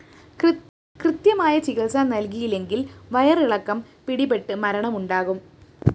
കൃത്യമായ ചികിത്സ നല്‍കിയില്ലെങ്കില്‍ വയറിളക്കം പിടിപെട്ട് മരണമുണ്ടാകും